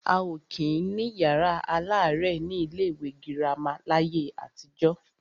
A ò kí ń ní yàrá aláàrẹ̀ ní ilé ìwé girama láyé àtijọ́.